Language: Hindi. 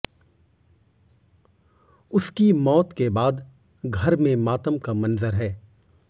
उसकी मौत के बाद घर में मातम का मंजर है